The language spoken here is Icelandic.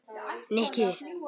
Nikki